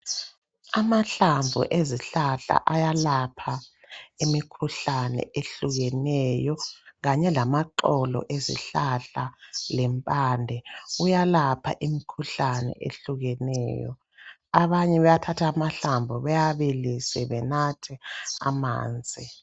Amahlamvu ezihlahla ayalapha imikhuhlane ehlukeneyo kanye lamaxolo ezihlahla lempande. Kuyelapha imikhuhlane ehlukeneyo, abanye bayathatha amahlamvu bewabilise benathe amanzi.